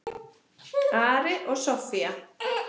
Ari og Soffía.